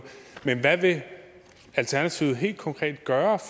men hvad vil alternativet helt konkret gøre